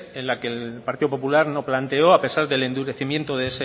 en la que el partido popular no planteó a pesar del endurecimiento